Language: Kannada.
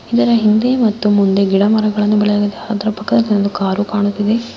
ಈ ಚಿತ್ರ ದಲ್ಲಿ ಒಂದು ಸೂಚನ ಪಾಲಕ ನೋಡಬಹುದು ಮತ್ತೆ ಮಹಾನಗರ ಪಾಲಿಕೆ ಎಂದು ಬರಯಲಾಗಿದೆ ಹಿಂದೆ ಮುಂದ್ ಗಿಡ ಮರ ಬೆಳೆಯಲಾಗಿದೆ ಅದರ ಪಕ್ಕ ದಲ್ಲಿ ಕಾರು ಕಾಣುತಿದೆ.